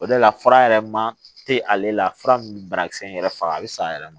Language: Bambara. O de la fura yɛrɛ ma te ale la fura min bɛ banakisɛ in yɛrɛ faga a bɛ san yɛrɛ ma